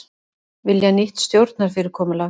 Vilja nýtt stjórnarfyrirkomulag